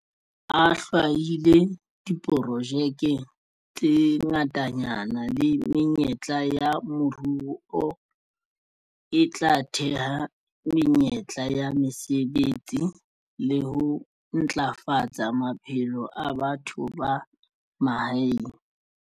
A hlwahile diprojeke tse ngatanyana le menyetla ya moruo e tla theha menyetla ya mesebetsi le ho ntlafatsa maphelo a batho ba mahaeng.